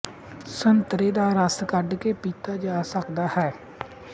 ਸੰਤਰੇ ਦਾ ਰਸ ਕੱਢਕੇ ਪੀਤਾ ਜਾ ਸਕਦਾ ਹੈ